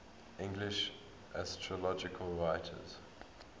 english astrological writers